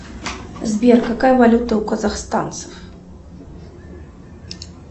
сбер какая валюта у казахстанцев